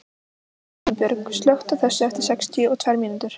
Himinbjörg, slökktu á þessu eftir sextíu og tvær mínútur.